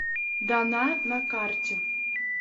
дана на карте